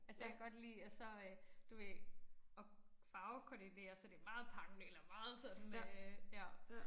Altså jeg kan godt lide at så øh du ved at farvekoordinere så det meget pang eller meget sådan øh ja